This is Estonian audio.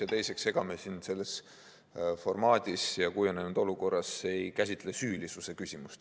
Ja teiseks, ega me siin selles formaadis ja kujunenud olukorras ei käsitle süülisuse küsimust.